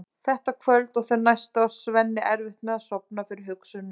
Þetta kvöld og þau næstu á Svenni erfitt með að sofna fyrir hugsunum um